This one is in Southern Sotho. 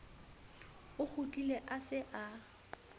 o kgutlile a se a